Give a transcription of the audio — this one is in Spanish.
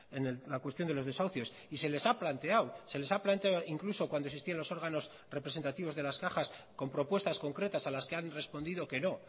en la cuestión de los desahucios y se les ha planteado se les ha planteado incluso cuando existían los órganos representativos de las cajas con propuestas concretas a las que han respondido que no